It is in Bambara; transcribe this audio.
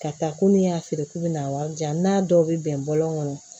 Ka taa ko n'i y'a feere k'u bɛ n'a wari jan n'a dɔw bɛ bɛn bɔlɔn kɔnɔ